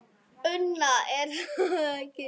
Una: Er það ekki?